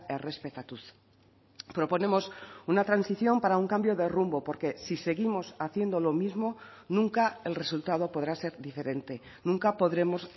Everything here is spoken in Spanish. errespetatuz proponemos una transición para un cambio de rumbo porque si seguimos haciendo lo mismo nunca el resultado podrá ser diferente nunca podremos